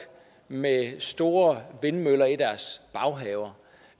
med store vindmøller i deres baghave